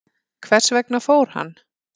Hvers vegna fór hann?